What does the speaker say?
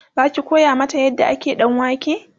Zaki koya mata yadda ake ɗanwake?